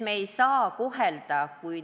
Me ei saa lubada ebavõrdset kohtlemist.